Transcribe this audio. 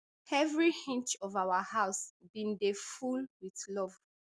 every inch of our house bin dey full wit love